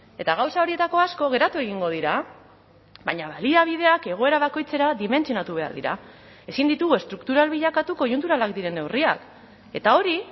eta gauza horietako asko geratu egingo dira baina baliabideak egoera bakoitzera dimentsionatu behar dira ezin ditugu estruktural bilakatu koiunturalak diren neurriak eta hori